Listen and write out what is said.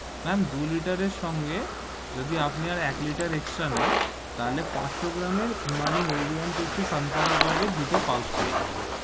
Ma'am দু liter এর সঙ্গে, আপনি যদি আপনার এক liter extra নেন, তাহলে পাঁচসো gram এর Emami healthy and tasty sunflower oil এর দুটো pouch পেয়ে যাবেন,